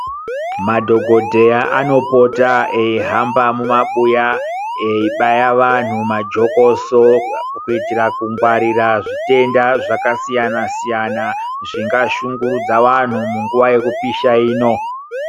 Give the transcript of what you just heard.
Madhokoteya ano pota eyi hamba mumabuya eyibaya vantu majokoso kuitira kungwarirwe zvitenda zvakasiyana siyana zvinga shungurudza vantu munguva yekupisha ino.